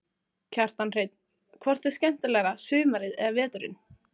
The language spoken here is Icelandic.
Kjartan Hreinn: Hvort er skemmtilegra sumarið eða veturinn?